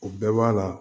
O bɛɛ b'a la